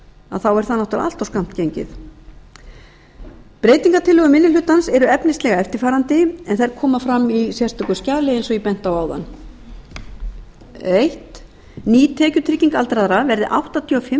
tekjur sínar er það auðvitað allt of skammt gengið breytingartillögur minni hlutans eru efnislega eftirfarandi en þær koma fram í sérstöku skjali eins og ég benti á áðan fyrsta ný tekjutrygging aldraðra verði áttatíu og fimm